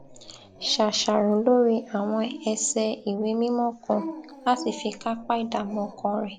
ṣàṣàrò lórí àwọn ẹsẹ ìwé mímó kan láti fi kápá ìdààmú ọkàn rẹ